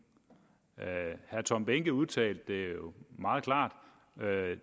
herre tom behnke udtalte det jo meget klart